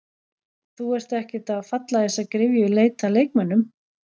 Þú ert ekkert að falla í þessa gryfju í leit að leikmönnum?